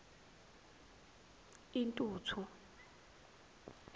intuthu